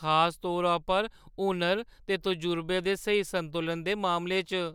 खास तौरा पर हुनर ते तजर्बे दे स्हेई संतुलन दे मामले च।